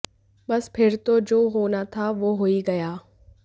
बस फिर तो जो होना था वो हो ही गया